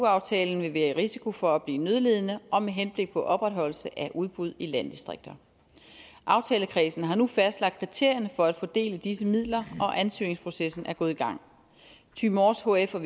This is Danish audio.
aftalen ville være i risiko for at blive nødlidende og med henblik på opretholdelse af udbud i landdistrikterne aftalekredsen har nu fastlagt kriterierne for at fordele disse midler og ansøgningsprocessen er gået i gang thy mors hf og